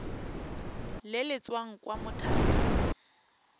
le le tswang kwa mothaping